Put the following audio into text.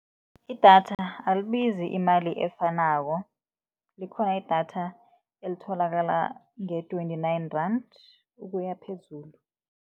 Idatha alibizi imali efanako, likhona idatha elitholakala nge-twenty-nine rand ukuya phezulu.